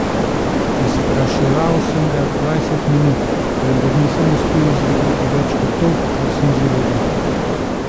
Izpraševal sem ga dvajset minut, vendar nisem uspel izvedeti več kot to, kar sem že vedel.